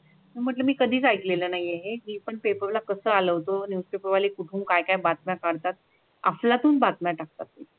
मग म्ही कधी ऐकलेला नाही पण पेपरला कसा लावतो न्यूस पेपरवाले कुठून काय काय बाता करतात अफलातून बातम्या टाकतात